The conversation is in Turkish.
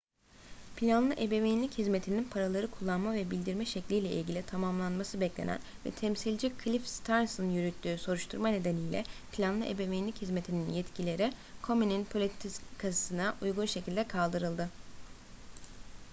planlı ebeveynlik hizmetinin paraları kullanma ve bildirme şekliyle ilgili tamamlanması beklenen ve temsilci cliff stearns'ın yürüttüğü soruşturma nedeniyle planlı ebeveynlik hizmetinin yetkileri komen'in politikasına uygun şekilde kaldırdı